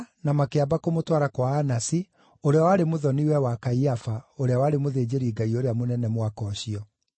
makĩamba kũmũtwara kwa Anasi, ũrĩa warĩ mũthoniwe wa Kaiafa, ũrĩa warĩ mũthĩnjĩri-Ngai ũrĩa mũnene mwaka ũcio.